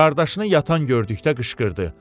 Qardaşını yatan gördükdə qışqırdı: